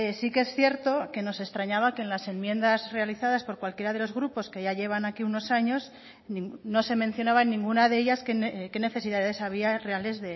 sí que es cierto que nos extrañaba que en las enmiendas realizadas por cualquiera de los grupos que ya llevan aquí unos años no se mencionaba en ninguna de ellas qué necesidades había reales